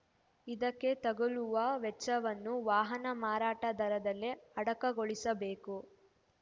ಇದಕ್ಕೆ ತಗುಲುವ ವೆಚ್ಚವನ್ನು ವಾಹನ ಮಾರಾಟ ದರದಲ್ಲೇ ಅಡಕಗೊಳಿಸಬೇಕು